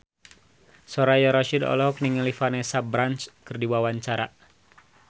Soraya Rasyid olohok ningali Vanessa Branch keur diwawancara